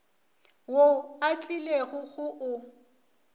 wo o tlilego go o